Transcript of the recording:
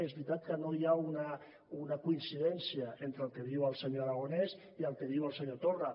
és veritat que no hi ha una coincidència entre el que diu el senyor aragonès i el que diu el senyor torra